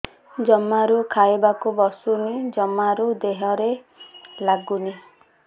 ଜମାରୁ ଖାଇବାକୁ ବସୁନି ଜମାରୁ ଦେହରେ ଲାଗୁନି